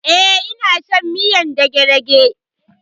E, ina shan miyar dagedage.